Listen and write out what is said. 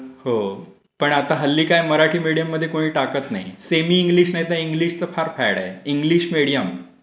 होय, पण आता हल्ली काय मराठी मीडियम मध्ये कोणी टाकत नाही. सेमी इंग्लिश नाहीतर इंग्लिशचं फार फॅड आहे. English medium.